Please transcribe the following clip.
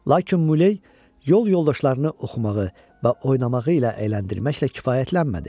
Lakin Muley yol yoldaşlarını oxumağı və oynamağı ilə əyləndirməklə kifayətlənmədi.